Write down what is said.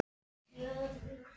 Hvort það hefði slasast mikið.